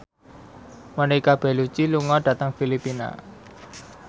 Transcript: Monica Belluci lunga dhateng Filipina